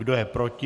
Kdo je proti?